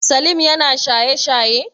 Salim yana shaye shaye?